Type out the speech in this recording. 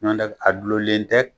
Ɲɔndɛ a dulonlen dɛ